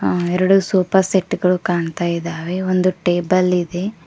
ಎರಡು sofa set ಗಳು ಕಾಣ್ತಾ ಇದ್ದಾವೆ ಒಂದು ಟೇಬಲ್ ಇದೆ.